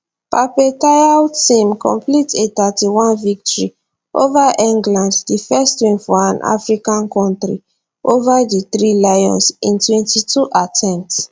pape thiaw team complete a thirty one victory ova england di first win for an african kontri ova di three lions in twenty two attempts